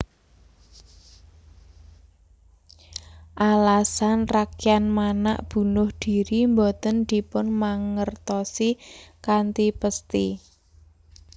Alasan Rakryan Manak bunuh diri boten dipunmangerosi kanthi pesthi